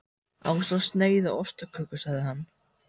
Ásamt sneið af ostaköku sagði hann.